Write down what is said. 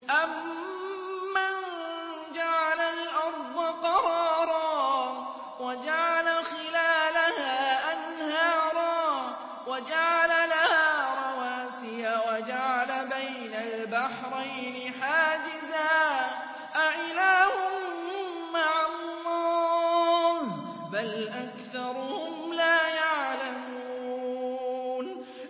أَمَّن جَعَلَ الْأَرْضَ قَرَارًا وَجَعَلَ خِلَالَهَا أَنْهَارًا وَجَعَلَ لَهَا رَوَاسِيَ وَجَعَلَ بَيْنَ الْبَحْرَيْنِ حَاجِزًا ۗ أَإِلَٰهٌ مَّعَ اللَّهِ ۚ بَلْ أَكْثَرُهُمْ لَا يَعْلَمُونَ